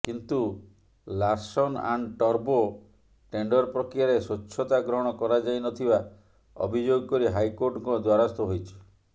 କିନ୍ତୁ Larsen and ଟର୍ବୋ tender ପ୍ରକ୍ରିୟାରେ ସ୍ୱଚ୍ଛତା ଗ୍ରହଣ କରାଯାଇନଥିବା ଅଭିଯୋଗ କରି ହାଇକୋର୍ଟଙ୍କ ଦ୍ୱାରସ୍ଥ ହୋଇଛି